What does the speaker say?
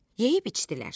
Yeyib içdilər.